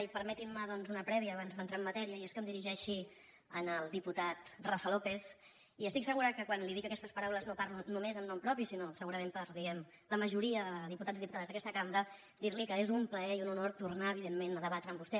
i permetin me doncs una prèvia abans d’entrar en matèria i és que em dirigeixi al diputat rafa lópez i estic segura que quan li dic aquestes paraules no parlo només en nom propi sinó segurament per la majoria de diputats i diputades d’aquesta cambra dir li que és un plaer i un honor tornar evidentment a debatre amb vostè